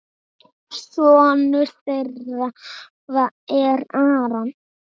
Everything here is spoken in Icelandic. Sonur þeirra er Aron.